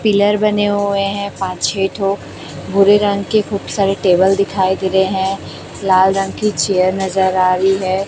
Pillar बने हुए हैं पांच छह ठो भुरे रंग के खूब सारे टेबल दिखाई दे रहे हैं लाल रंग की चेयर नजर आ रही है।